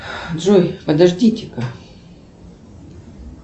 джой подождите ка